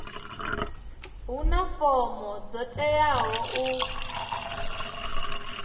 huna fomo dzo teaho u